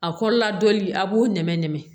A kɔrɔla dɔli a b'o nɛmɛ nɛmɛ